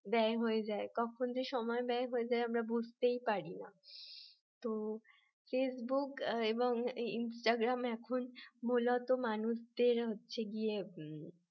ব্যয় হয়ে যায় কখন যে সময় ব্যয় হয়ে যায় আমরা বুঝতেই পারি না তো ফেসবুক এবং ইনস্টাগ্রাম এখন মূলত মানুষদের হচ্ছে গিয়ে